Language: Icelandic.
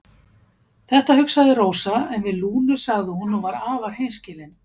Þetta hugsaði Rósa en við Lúnu sagði hún og var afar hreinskilin